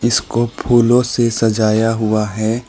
इसको फूलों से सजाया हुआ है।